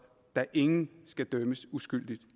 da ingen skal dømmes uskyldigt